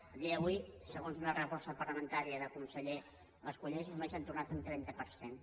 a dia d’avui segons una resposta parlamentària del conseller mas colell només se n’ha tornat un trenta per cent